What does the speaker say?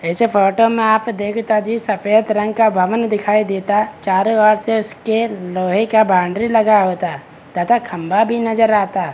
इस फोटो में आप देखता जी सफेद रंग का भवन दिखाई देता चारो ओर से उसके लोहे का बाउंड्री लगा होता तथा खम्बा भी नजर आता।